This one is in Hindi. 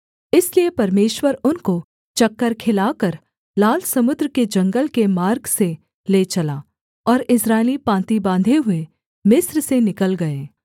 इसलिए परमेश्वर उनको चक्कर खिलाकर लाल समुद्र के जंगल के मार्ग से ले चला और इस्राएली पाँति बाँधे हुए मिस्र से निकल गए